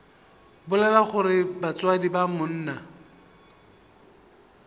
bolela gore batswadi ba monna